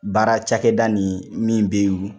Baara cakɛda nin min be olu